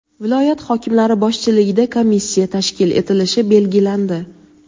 viloyat hokimlari boshchiligida komissiya tashkil etilishi belgilandi.